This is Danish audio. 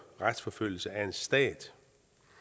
retsforfølgelse af en stat